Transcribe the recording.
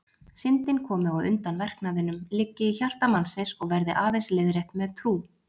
Syndin komi á undan verknaðinum, liggi í hjarta mannsins og verði aðeins leiðrétt með trú.